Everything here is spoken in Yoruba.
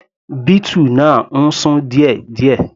Beetle náà ń sún díẹ̀díẹ̀.